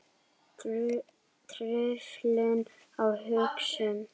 Truflun á hugsun